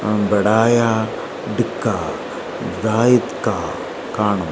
അവിടായാലും ദാ ഇക്ക കാണും.